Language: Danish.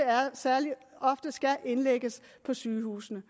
særlig ofte skal indlægges på sygehusene